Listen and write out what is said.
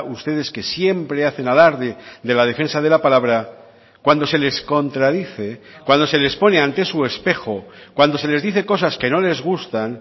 ustedes que siempre hacen alarde de la defensa de la palabra cuando se les contradice cuando se les pone ante su espejo cuando se les dice cosas que no les gustan